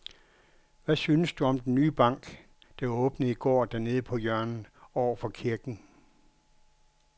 Hvad synes du om den nye bank, der åbnede i går dernede på hjørnet over for kirken?